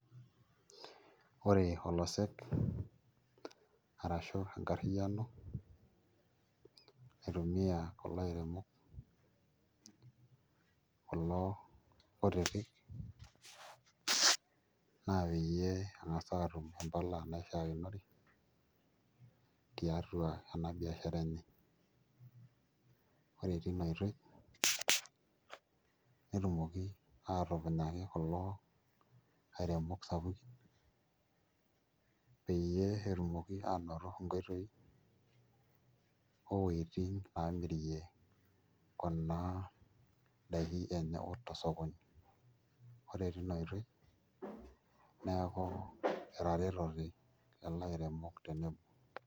Ore olosek arashu enkarriyiano naitumiaa kulo airemok kulo kutitik naa peyie eng'as aatum mpala naishiakinore ore tina oitoi netumoki aatupunyaki kulo airemok sapukin peyie etumoki aanoto nkoitoi o wueitin naamirie kuna daikin enye tosokoni ore tina oitoi neeku etaretote lelo airemok.